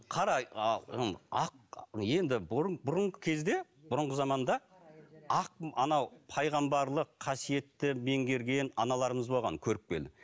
қара ақ енді бұрын бұрынғы кезде бұрынғы заманда ақ анау пайғамбарлық қасиетті меңгерген аналарымыз болған көріпкел